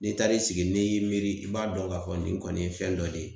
N'i taari sigi n'i y'i miiri, i b'a dɔn ka fɔ nin kɔni ye fɛn dɔ de ye.